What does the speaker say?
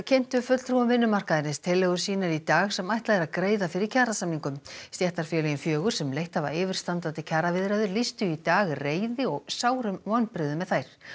kynntu fulltrúum vinnumarkaðarins tillögur sínar í dag sem ætlað er að greiða fyrir kjarasamningum stéttarfélögin fjögur sem leitt hafa yfirstandandi kjaraviðræður lýstu í dag reiði og sárum vonbrigðum með þær